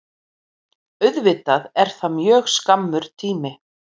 Auðvitað er það mjög skammur tími